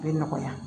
A bɛ nɔgɔya